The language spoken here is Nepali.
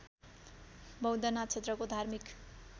बौद्धनाथ क्षेत्रको धार्मिक